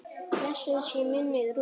Blessuð sé minning Rúnars.